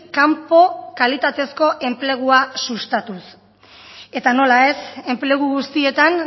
kanpo kalitatezko enplegua sustatuz eta nola ez enplegu guztietan